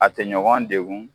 A tɛ ɲɔgɔn degun